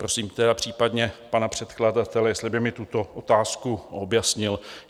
Prosím tedy případně pana předkladatele, jestli by mi tuto otázku objasnil.